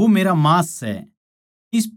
वो मेरा मांस सै